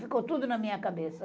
Ficou tudo na minha cabeça.